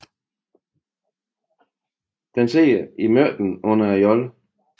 Den sidder i midten under jollen